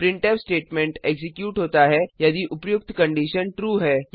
printf statement execute होता है यदि उपर्युक्त कंडिशन ट्रू है